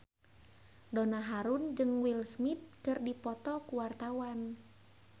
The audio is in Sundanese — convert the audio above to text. Donna Harun jeung Will Smith keur dipoto ku wartawan